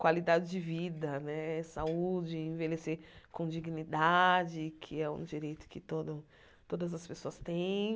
qualidade de vida né, saúde, envelhecer com dignidade, que é um direito que todo todas as pessoas têm.